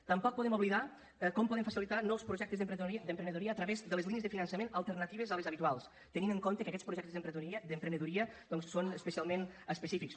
tampoc podem oblidar com podem facilitar nous projectes d’emprenedoria a través de les línies de finançament alternatives a les habituals tenint en compte que aquests projectes d’emprenedoria doncs són especialment específics